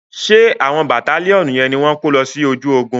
Ṣé àwọn bàtálíọ̀nù yẹn ni wọ́n ko lọ sí ojú ogun.